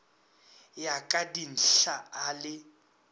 ya ka dinthla a le